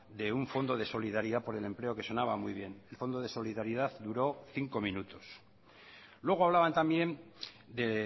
de un fondo de solidaridad por el empleo que sonaba muy bien el fondo de solidaridad duró cinco minutos luego hablaban también de